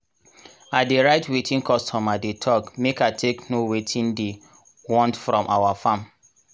i dey write wetin customer dey talk make i take know wetin diy want from our farm.